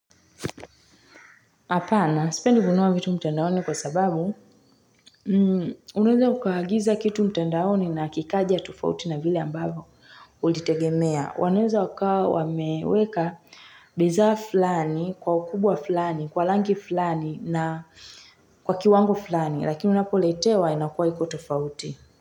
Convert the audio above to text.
Apana. Sipendi kunua vitu mtandaoni kwa sababu, unanweza ukahagiza kitu mtandaoni na kikaja tufauti na vile ambavo ulitegemea. Wananweza waka wameweka bidhaa fulani, kwa ukubwa fulani, kwa langi fulani na kwa kiwango fulani, lakini unapoletewa inakuwa iko tofauti.